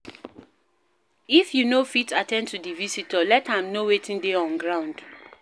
If you no go fit at ten d to di visitor, let am know wetin dey on ground